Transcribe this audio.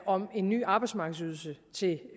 om en ny arbejdsmarkedsydelse til